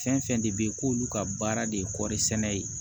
Fɛn fɛn de bɛ yen k'olu ka baara de ye kɔɔri sɛnɛ ye